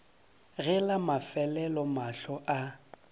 ge la mafelelo mahlo a